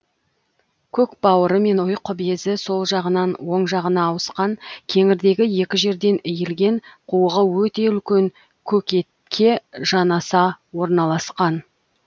көкбауыры мен ұйқы безі сол жағынан оң жағына ауысқан кеңірдегі екі жерден иілген қуығы өте үлкен көкетке жанаса орналасқан